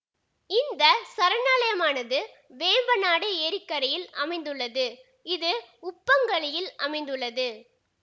இந்த சரணாலயமானது வேம்பநாடு ஏரிக்கரையில் அமைந்துள்ளது இது உப்பங்கழியில் அமைந்துள்ளது